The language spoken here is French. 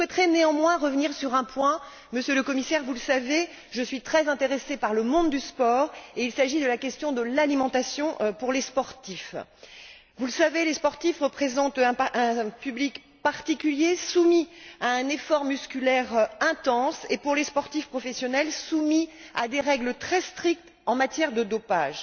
Je souhaiterais, toutefois, revenir sur un point. Monsieur le Commissaire, vous le savez, je suis très intéressée par le monde du sport, et il s'agit de la question de l'alimentation pour les sportifs. Vous n'êtes pas sans savoir que les sportifs représentent un public particulier, soumis à un effort musculaire intense et, pour les sportifs professionnels, soumis à des règles très strictes en matière de dopage.